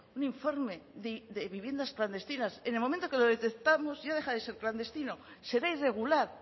un informe de viviendas clandestinas si en el momento que lo detectamos ya deja de ser clandestino será irregular